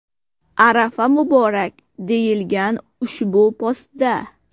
Arafa muborak!” deyilgan ushbu postda .